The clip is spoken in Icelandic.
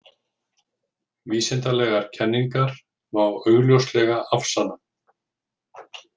Vísindalegar kenningar má augljóslega afsanna.